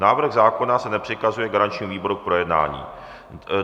Návrh zákona se nepřikazuje garančnímu výboru k projednání.